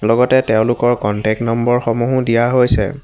লগতে তেওঁলোকৰ contact number সমূহো দিয়া হৈছে।